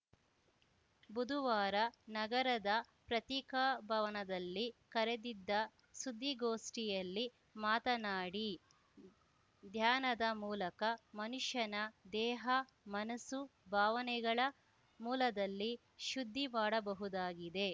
ಬುದುವಾರ ನಗರದ ಪತ್ರಿಕಾಭವನದಲ್ಲಿ ಕರೆದಿದ್ದ ಸುದ್ದಿಗೋಷ್ಠಿಯಲ್ಲಿ ಮಾತನಾಡಿ ಧ್ಯಾನದ ಮೂಲಕ ಮನುಷ್ಯನ ದೇಹಮನಸ್ಸು ಭಾವನೆಗಳ ಮೂಲದಲ್ಲಿ ಶುದ್ಧಿ ಮಾಡಬಹುದಾಗಿದೆ